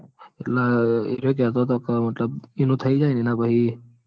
અર એરીયો કેતો તો મતલબ એનું થઇ જાય એના પછી